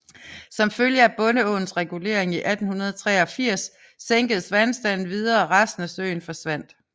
Som følge af Bondeåens regulering i 1883 sænkedes vandstanden videre og resten af søen forsvandt